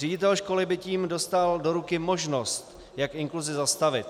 Ředitel školy by tím dostal do ruky možnost, jak inkluzi zastavit.